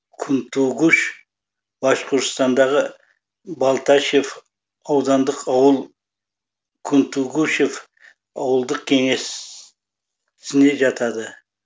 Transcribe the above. кунтугуш башқұртстандағы балтачев аудандық ауыл кунтугушев ауылдық кеңесіне жатады